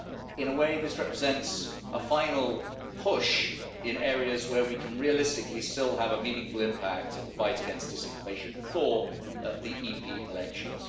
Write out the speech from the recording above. In a way, this represents a final push in areas where we can realistically still have a meaningful impact in the fight against disinformation before the EP elections.